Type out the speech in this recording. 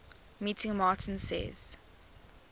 meeting martin says